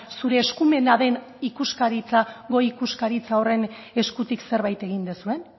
zure eskumena den ikuskaritza goi ikuskaritza horren eskutik zerbait egin duzuen